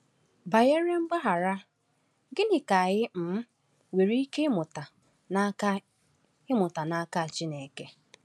Banyere mgbaghara, gịnị ka anyị um nwere ike ịmụta n’aka ịmụta n’aka Chineke?